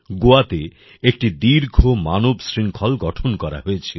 জিওএ তে একটি দীর্ঘ মানব শৃংখল গঠন করা হয়েছিল